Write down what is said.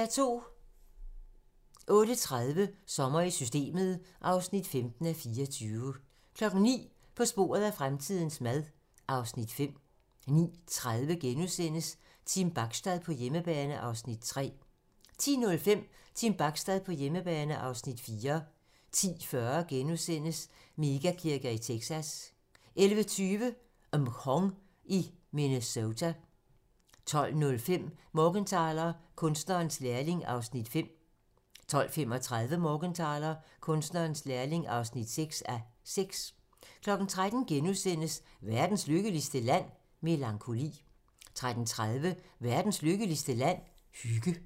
08:30: Sommer i Systemet (15:24) 09:00: På sporet af fremtidens mad (Afs. 5) 09:30: Team Bachstad på hjemmebane (Afs. 3)* 10:05: Team Bachstad på hjemmebane (Afs. 4) 10:40: Mega-kirker i Texas * 11:20: Mhong i Minnesota 12:05: Morgenthaler: Kunstnerens lærling (5:6) 12:35: Morgenthaler: Kunstnerens lærling (6:6) 13:00: Verdens lykkeligste Land? - Melankoli * 13:30: Verdens lykkeligste land? - Hygge